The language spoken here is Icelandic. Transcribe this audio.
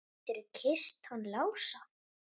Gætirðu kysst hann Lása?